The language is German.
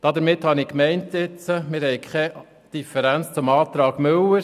Ich habe gemeint, wir hätten keine Differenz zum Antrag Müller.